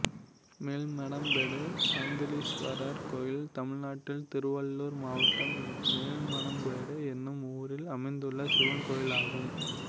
மேல்மணம்பேடு சாந்தலீஸ்வரர் கோயில் தமிழ்நாட்டில் திருவள்ளூர் மாவட்டம் மேல்மணம்பேடு என்னும் ஊரில் அமைந்துள்ள சிவன் கோயிலாகும்